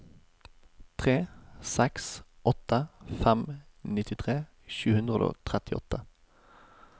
tre seks åtte fem nittitre sju hundre og trettiåtte